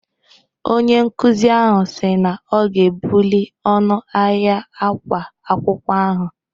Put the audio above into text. Onye nkuzi ahụ si na ọ ga-ebuli ọnụ ahịa ákwá akwụkwọ ahụ.